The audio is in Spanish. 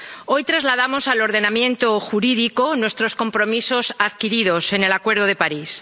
Hoy trasladamos al ordenamiento jurídico nuestros compromisos adquiridos en el Acuerdo de París.